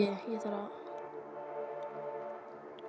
Og hringir ekki í mig.